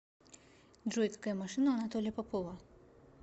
джой какая машина у анатолия попова